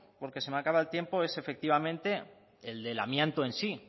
porque se me acaba el tiempo es efectivamente el del amianto en sí